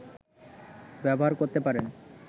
ব্যবহার করতে পারেন